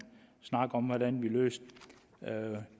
snak om hvordan vi løser